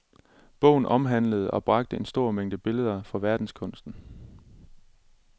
Bogen omhandlede og bragte en stor mængde billeder fra verdenskunsten.